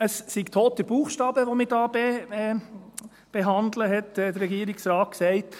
Es sei toter Buchstabe, den wir hier behandeln, hat der Regierungsrat gesagt.